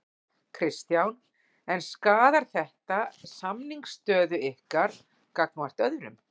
Kristján: En skaðar þetta samningsstöðu ykkar gagnvart öðrum?